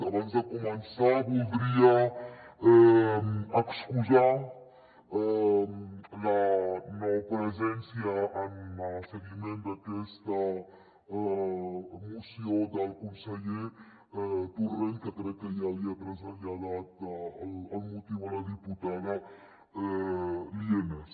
abans de començar voldria excusar la no presència en el seguiment d’aquesta moció del conseller torrent que crec que ja li ha traslladat el motiu a la diputada lienas